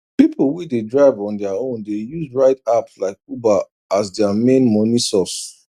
people wey dey drive on their own dey use ride apps like uber as their main money source